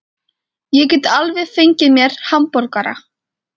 Ég get alveg fengið mér hamborgara.